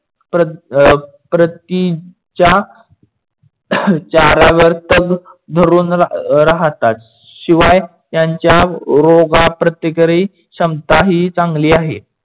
प्रतीच्या चाऱ्यावर धरून राहतात. शिवाय त्यांच्या रोगप्रतिकारक क्षमता ही चांगली आहे.